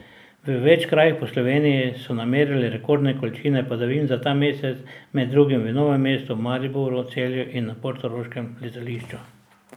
V več krajih po Sloveniji so namerili rekordne količine padavin za ta mesec, med drugim v Novem mestu, Mariboru, Celju in na portoroškem letališču.